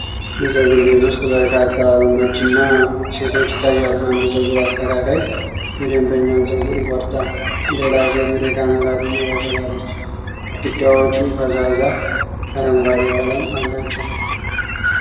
የፀጉር ቤት ውስጥ በርካታ ወንዶችና ሴቶች ይታያሉ። አንድ ፀጉር አስተካካይ የደንበኛን ፀጉር ይቆርጣል፤ ሌላ ሴት ወደ ካሜራ ትመለከታለች። ግድግዳዎቹ ፈዛዛ አረንጓዴ ቀለም አላቸው።